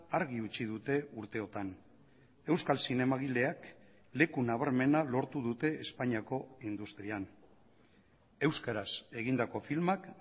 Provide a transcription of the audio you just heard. argi utzi dute urteotan euskal zinemagileak leku nabarmena lortu dute espainiako industrian euskaraz egindako filmak